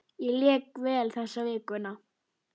Ég lék vel þessa vikuna.